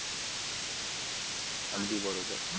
अगदी बरोबर